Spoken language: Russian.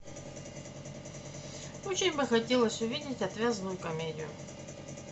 очень бы хотелось увидеть отвязную комедию